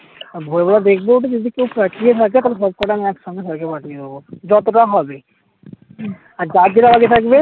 আহ ভোরবেলা দেখবো একটু যদি কেউ থাকে তাহলে সবকটা আমি একসঙ্গে sir কে পাঠিয়ে দেব যতটা হবে হম আর যার যেটা বাকি থাকবে